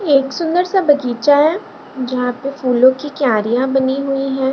एक सुंदर सा बगीचा है जहाँ पे फूलों की क्यारिया बनी हुई हैं।